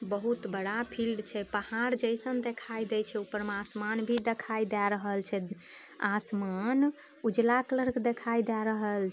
बहुत बड़ा फील्ड छै पहाड़ जैसन देखाय दे छै ऊपर में आसमान भी देखाय दे रहल छै आसमान उजाला कलर के देखाय --